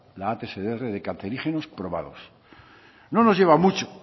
la atsdr de cancerígenos probados no nos lleva mucho